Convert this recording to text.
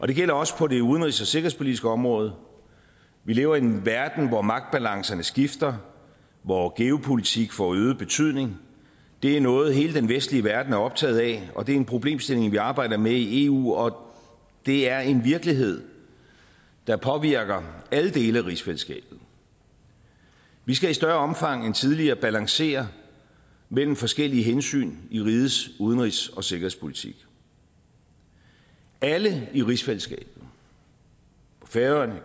det gælder også på det udenrigs og sikkerhedspolitiske område vi lever i en verden hvor magtbalancerne skifter hvor geopolitik får øget betydning det er noget som hele den vestlige verden er optaget af og det er en problemstilling vi arbejder med i eu og det er en virkelighed der påvirker alle dele af rigsfællesskabet vi skal i større omfang end tidligere balancere mellem forskellige hensyn i rigets udenrigs og sikkerhedspolitik alle i rigsfællesskabet på færøerne